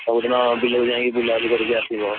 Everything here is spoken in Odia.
ସବୁଦିନ! ବିଲକୁ ଯାଇ ବୁଲାବୁଲି କରିକି ଆସିବ।